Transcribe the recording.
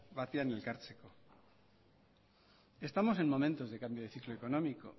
batean elkartzeko estamos en momentos de cambio de ciclo económico